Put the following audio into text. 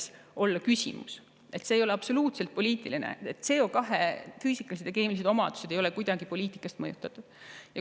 See ei ole absoluutselt poliitiline, CO2 füüsikalised ja keemilised omadused ei ole kuidagi poliitikast mõjutatud.